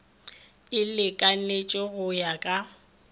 e lekanetše go ya ka